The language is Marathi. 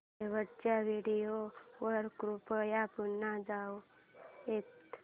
शेवटच्या व्हिडिओ वर कृपया पुन्हा जाऊयात